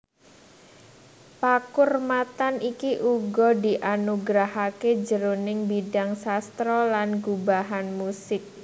Pakurmatan iki uga dianugerahaké jroning bidang sastra lan gubahan musik